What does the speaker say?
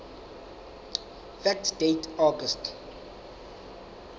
fact date august